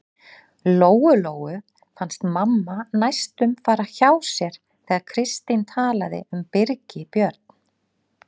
Lóu-Lóu fannst mamma næstum fara hjá sér þegar Kristín talaði um Birgi Björn.